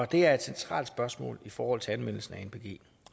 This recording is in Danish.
det er et centralt spørgsmål i forhold til anvendelsen af anpg